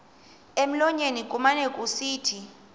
emlonyeni kumane kusithi